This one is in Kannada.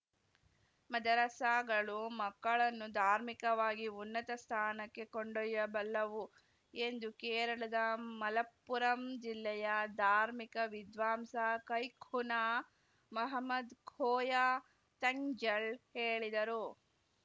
ಮದರಸಾಗಳು ಮಕ್ಕಳನ್ನು ಧಾರ್ಮಿಕವಾಗಿ ಉನ್ನತ ಸ್ಥಾನಕ್ಕೆ ಕೊಂಡೊಯ್ಯಬಲ್ಲವು ಎಂದು ಕೇರಳದ ಮಲಪ್ಪುರಂ ಜಿಲ್ಲೆಯ ಧಾರ್ಮಿಕ ವಿದ್ವಾಂಸ ಕೈಖುನಾ ಮಹಮ್ಮದ್‌ ಕೋಯ ತಂಙಳ್‌ ಹೇಳಿದರು